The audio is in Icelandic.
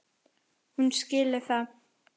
Hún skilur það.